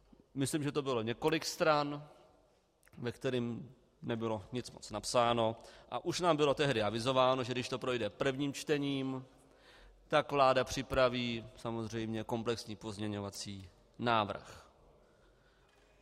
Myslím, že to bylo několik stran, ve kterých nebylo nic moc napsáno, a už nám bylo tehdy avizováno, že když to projde prvním čtením, tak vláda připraví samozřejmě komplexní pozměňovací návrh.